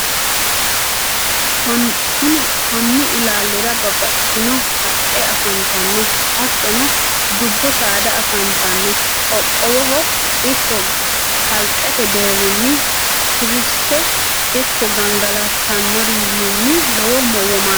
konni ilaalira babbaxxitino haqqe afantanno. hattonni dubbu saada afantanno. qoqqowoho ikko kalqete deerinni turistete ikko gangalatanoriwiinni lowo womaasha aa dandanno.